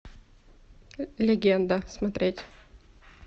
легенда смотреть